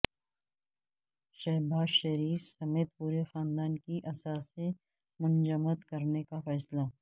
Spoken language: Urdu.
شہباز شریف سمیت پورے خاندان کی اثاثے منجمد کرنے کا فیصلہ